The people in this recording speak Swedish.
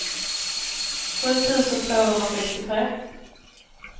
sju tusen tvåhundrasextiotre